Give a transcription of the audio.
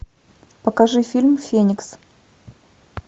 покажи фильм феникс